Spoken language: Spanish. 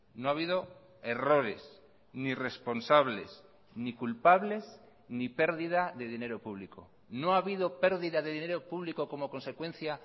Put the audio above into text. no ha habido errores ni responsables ni culpables ni pérdida de dinero público no ha habido pérdida de dinero público como consecuencia